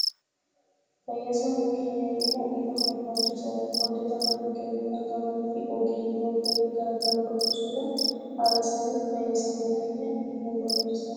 Fayyaa sammuu keenyaa eeguun barbaachisaadha. Wantoota naannoo keenyatti argaman fi ogeeyyiiwwan fayyaa garaa garaa dubbisuudhaan haala saniin fayyaa sammuu keenyaa eeguun barbaachisaadha.